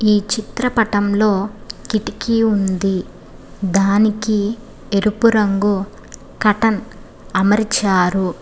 ఈ చిత్రపటంలో కిటికీ ఉంది దానికి ఎరుపు రంగు కాటన్ అమర్చారు.